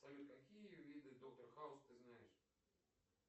салют какие виды доктор хаус ты знаешь